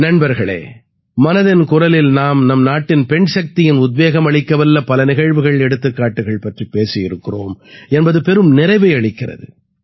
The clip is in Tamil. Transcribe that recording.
நண்பர்களே மனதின் குரலில் நாம் நம் நாட்டின் பெண்சக்தியின் உத்வேகம் அளிக்கவல்ல பல நிகழ்வுகள்எடுத்துக்காட்டுகள் பற்றிப் பேசியிருக்கிறோம் என்பது பெரும் நிறைவை அளிக்கிறது